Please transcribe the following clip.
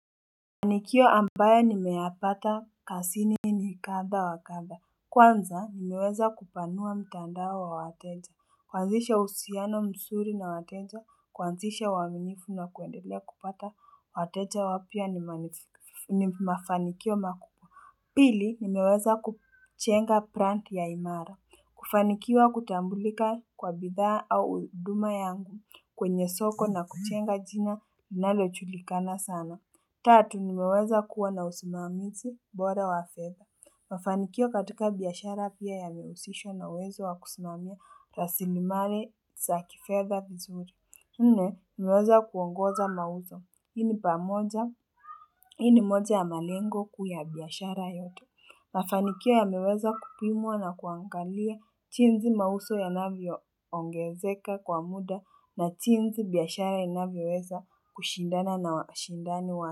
Fanikio ambayo nimeyapata kasini ni kadha wa kadha, kwanza nimeweza kupanua mtaandao wa wateja, kuanzisha uhusiano msuri na wateja, kuanzisha uaminifu na kuendelea kupata wateja wapya ni ni mafanikio makubwa. Pili nimeweza kujenga plant ya imara. Kufanikiwa kutambulika kwa bidhaa au huduma yangu kwenye soko na kujenga jina linalojulikana sana Tatu, nimeweza kuwa na usimamizi bora wa fedha. Mafanikio katika biashara pia yamehusishwa na uwezo wa kusimamia rasilimali sa kifedha vizuri. Nne, nimeweza kuongoza mauzo. Hii ni pamoja, hii ni moja ya malengo kuu ya biashara yote. Mafanikio yameweza kupimwa na kuangalia jinzi mauso yanavyoongezeka kwa muda na jinzi biashara inavyoweza kushindana na washindani wake.